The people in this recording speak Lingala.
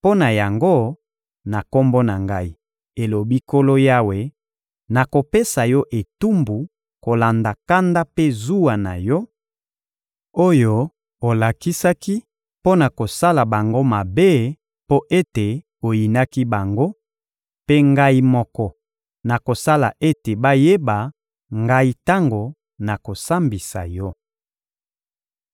mpo na yango, na Kombo na Ngai, elobi Nkolo Yawe, nakopesa yo etumbu kolanda kanda mpe zuwa na yo, oyo olakisaki mpo na kosala bango mabe mpo ete oyinaki bango; mpe Ngai moko, nakosala ete bayeba Ngai tango nakosambisa yo.